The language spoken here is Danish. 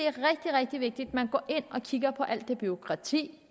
er rigtig rigtig vigtigt at man går ind og kigger på alt det bureaukrati